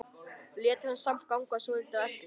Lét hana samt ganga svolítið á eftir sér.